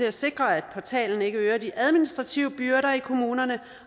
at sikre at portalen ikke øger de administrative byrder i kommunerne